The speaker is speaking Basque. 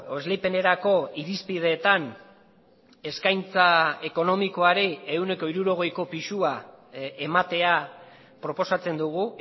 esleipenerako irizpideetan eskaintza ekonomikoari ehuneko hirurogeiko pisua ematea proposatzen dugu